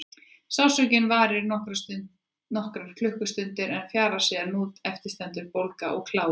Sársaukinn varir í nokkrar klukkustundir en fjarar síðan út en eftir stendur bólga og kláði.